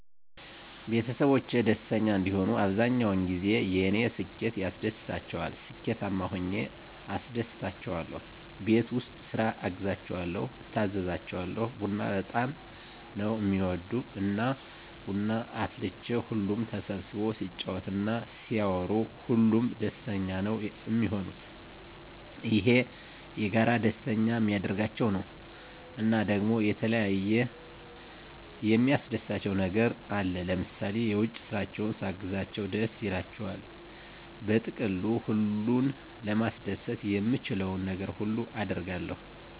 ቤተሰቦቼ ደስተኛ እንዲሆኑ አብዛኛዉ ጊዜ የኔ ስኬት ያስደስታቸዋል ስኬታማ ሁኘ አስደስታቸዋለሁ፣ ቤት ዉስጥ ስራ አግዛቸዋለሁ፣ እታዘዛቸዋለሁ፣ ቡና በጣም ነዉ እሚወዱ እና ቡና አፍልቼ ሁሉም ተሰብስቦ ሲጫወት እና ሲያወሩ ሁሉም ደስተኛ ነዉ እሚሆኑት፣ ይሄ የጋራ ደስተኛ እሚያደርጋቸዉ ነዉ። እና ደሞ የተለያየ የሚያስደስታቸዉ ነገር አለ ለምሳሌ የዉጭ ስራቸዉን ሳግዛቸዉ ደስ ይላቸዋል። በጥቅሉ ሁሉን ለማስደሰት የምችለዉን ነገር ሁሉ አደርጋለሁ።